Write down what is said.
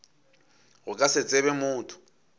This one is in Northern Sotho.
go ka se tsebe motho